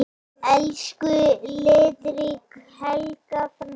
Elsku litríka Helga frænka.